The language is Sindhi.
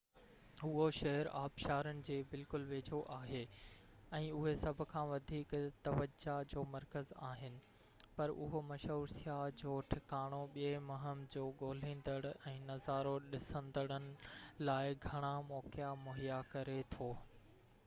اهو شهر آبشارن جي بلڪل ويجهو آهي ۽ اهي سڀ کان وڌيڪ توجا جو مرڪز آهن پر اهو مشهور سياح جو ٺڪاڻو ٻئي مهم جو ڳوليندڙ ۽ نظارو ڏسندڙن لاءِ گهڻا موقعا مهيا ڪري ٿو